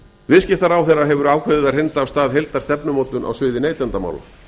viðskiptaráðherra hefur ákveðið að hrinda af stað heildarstefnumótun á sviði neytendamála